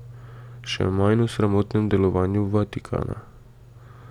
Še manj o sramotnem delovanju Vatikana.